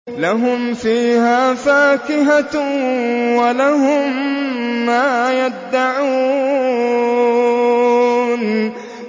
لَهُمْ فِيهَا فَاكِهَةٌ وَلَهُم مَّا يَدَّعُونَ